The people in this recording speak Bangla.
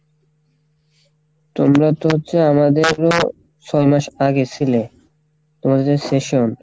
তোমরা তো হচ্ছে আমাদের ছয় মাস আগে সিলে তোমাদের season,